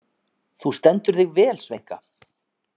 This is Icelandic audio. Þú stendur þig vel, Sveinka!